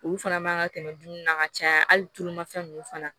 Olu fana man kan ka tɛmɛ dumuni na ka caya hali tulumafɛn ninnu fana